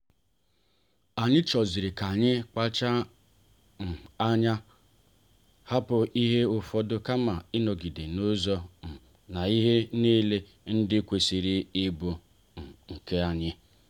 anyi choziri ka anyị kpacha um anya hapụ ihe ụfọdụ kama ịnọgide n'izo um na ihe niile ndị kwesịrị ịbụ um nke anyị